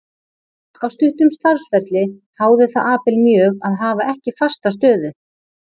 Á stuttum starfsferli háði það Abel mjög að hafa ekki fasta stöðu.